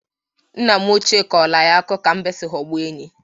Nna m ochịe kọrọ anyị akụkọ ka mbe si ghọgbuo enyí.